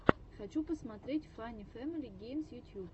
хочу посмотреть фанни фэмили геймс ютьюб